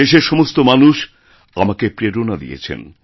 দেশের সমস্ত মানুষ আমাকে প্রেরণা দিয়েছেন